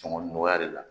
Cɔngɔn nɔgɔya de la